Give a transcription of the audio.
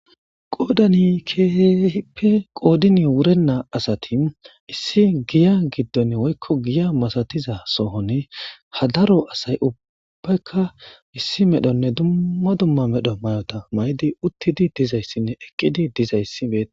Qoodani keeeppe qoodini wurennaa asati issi giya giddon woykko giya masatiza sohone hadaro asay ubbaykka issi medhonne dumma dumma medho may'ota may'di uttidi dizayssinne eqqidi dizayssi beea.